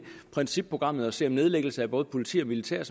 principprogrammet for at se at nedlæggelse af både politi og militær